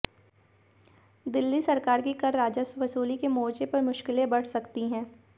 दिल्ली सरकार की कर राजस्व वसूली के मोर्चे पर मुश्किलें बढ़ सकती हैं